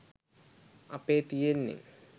අපේ තියෙන්නේ